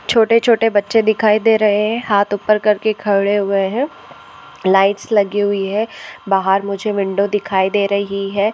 छोटे छोटे बच्चे दिखाई दे रहे है हात ऊपर करके खड़े हुए है। लाइट्स लगी हुई है। बाहर मुझे विंडो दिखाई दे रही है।